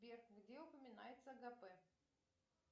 сбер где упоминается агапе